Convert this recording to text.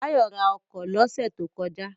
Báyọ̀ ra ọkọ̀ lọ́sẹ̀ tó kọjá